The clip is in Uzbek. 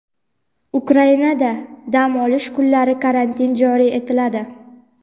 Ukrainada dam olish kunlari karantin joriy etiladi.